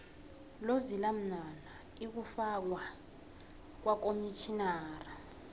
lolzila mnwana ikufakwa kwakomtjhinara